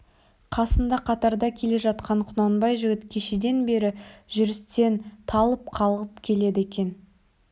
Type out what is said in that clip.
қасында қатарда келе жатқан құнанбай жігіт кешеден бері жүрістен талып қалғып келеді екен